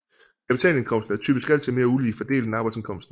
Kapitalindkomsten er typisk altid mere ulige fordelt end arbejdsindkomsten